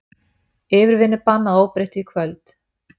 Yfirvinnubann að óbreyttu í kvöld